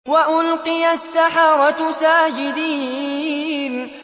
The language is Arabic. وَأُلْقِيَ السَّحَرَةُ سَاجِدِينَ